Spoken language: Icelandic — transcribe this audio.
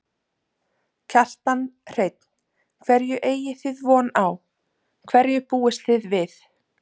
Kjartan Hreinn: Hverju eigi þið von á, hverju búist þið við?